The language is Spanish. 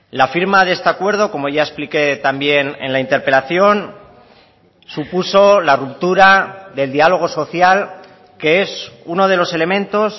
la firma de este acuerdo como ya expliqué también en la interpelación supuso la ruptura del diálogo social que es uno de los elementos